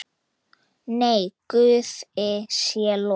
Nei, Guði sé lof.